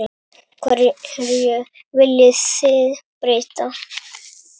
Hverju viljið þið breyta?